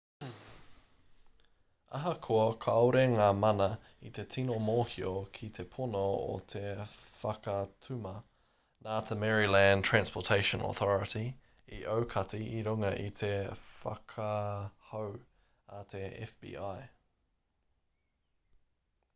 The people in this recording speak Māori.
ahakoa kāore ngā mana i te tino mōhio ki te pono o te whakatuma nā te maryland transportation authority i aukati i runga i te whakahau a te fbi